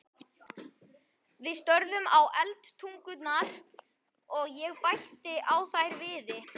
Við störðum í eldtungurnar, og ég bætti á þær viði.